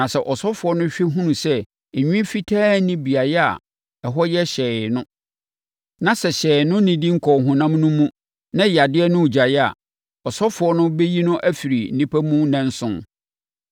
Na sɛ ɔsɔfoɔ no hwɛ hunu sɛ nwi fitaa nni beaeɛ a ɛhɔ yɛ hyɛnn no, na sɛ hyɛnn no nnidi nkɔɔ honam no mu, na yadeɛ no regyae a, ɔsɔfoɔ no bɛyi no afiri nnipa mu nnanson